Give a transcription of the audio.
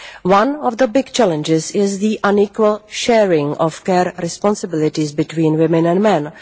One of the big challenges is the unequal sharing of care responsibilities between women and men.